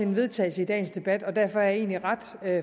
vedtagelse i dagens debat og derfor er jeg egentlig ret